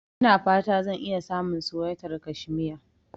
Ina fata zan iya samun suwaitar kashmiya.